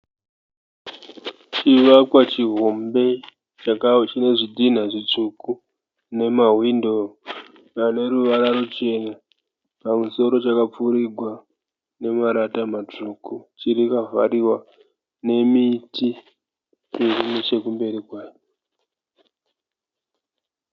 Chivakwa chihombe chaka chine zvidhinha zvitsvuku nemahwindo ane ruvara ruchena. Pamusoro chakapfurigwa namarata matsvuku chiri chakavhariwa nemiti iri nechekumberi kwayo.